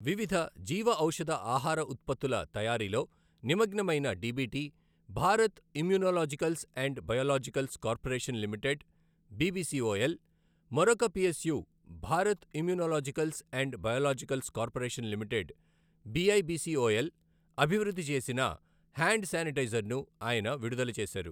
వివిధ జీవఔషధ ఆహార ఉత్పత్తుల తయారీలో నిమగ్నమైన DBT, Bharat immunologicals and biologicals corporation limited BBCOL, మరొక PSU Bharat immunologicals and biologicals corporation limited, BIBCOL అభివృద్ధి చేసిన హ్యాండ్ శానిటైజర్ను ఆయన విడుదల చేశారు.